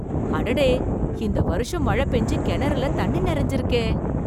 அடடே! இந்த வருஷம் மழ பெஞ்சு கெணறுல தண்ணி நெறைஞ்சிருக்கே!